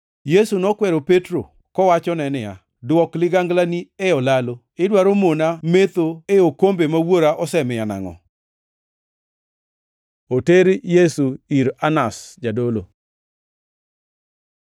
Yesu nokwero Petro kowachone niya, “Dwok liganglani e olalo! Idwaro mona metho e okombe ma Wuora osemiya nangʼo?” Oter Yesu ir Anas jadolo